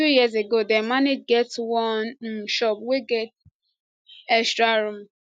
two years ago dem manage get one um shop wey get extra room